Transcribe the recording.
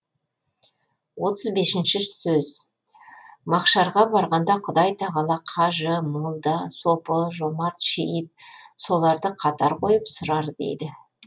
отыз бесінші сөз махшарға барғанда құдай тағала қажы молда сопы жомарт шейіт соларды қатар қойып сұрар дейді